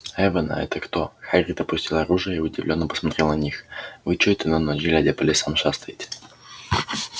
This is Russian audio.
эвона это кто хагрид опустил оружие и удивлённо посмотрел на них вы чой-то на ночь глядя по лесам шастаете